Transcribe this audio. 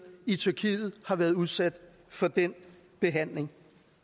i tyrkiet har været udsat for den behandling